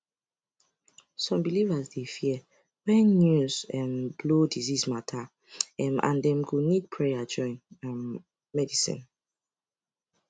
some believers dey fear when news um blow disease matter um and dem go need prayer join um medicine